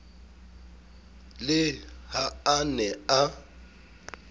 le ha a ne a